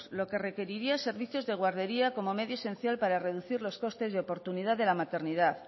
lo que requeriría servicios de guardería como medio esencial para reducir los costes de oportunidad de la maternidad